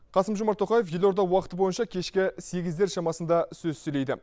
қасым жомар тоқаев елорда уақыты бойынша кешке сегіздер шамасында сөз сөйлейді